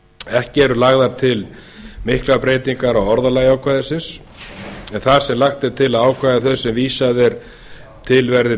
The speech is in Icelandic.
ekki eru lagðar til miklar breytingar á orðalagi ákvæðisins en þar sem lagt er til að ákvæðum þeim sem vísað er til verði